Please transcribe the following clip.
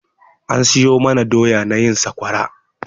An siyo mana doya na yin sakwara.